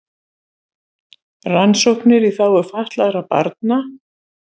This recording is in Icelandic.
Rannsóknir í þágu fatlaðra barna